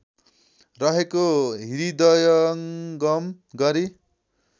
रहेको हृदयङ्गम गरी